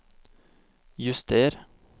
juster